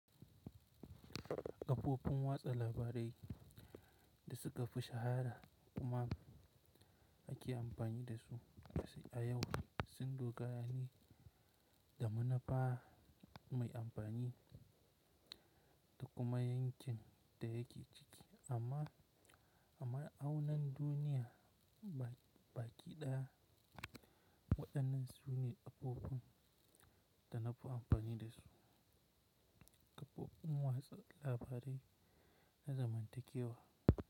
Kafofun watsa labarai da suka fi shahara kuma ake amfani dasu a yau sun dogara ne da manufa mai amfani da kuma 'yancin da yake ciki amma auna duniya baƙiɗa waɗannan zurin abubuwan da nafi amfani dasu. Abubuwan watsa labarai na zamanin da ke wa.